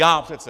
Já přece!